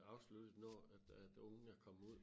Afsluttet når at at ungen er kommet ud